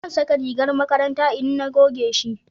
zan saka rigar makaranta in na goge shi